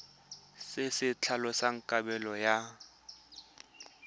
se se tlhalosang kabelo ya